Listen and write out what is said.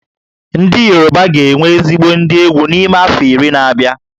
Ndị Yoruba ga-enwe ezigbo ndị egwú n'ime afọ iri na-abịa